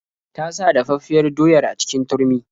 Ta sa dafaffiyar doyar a cikin turmi.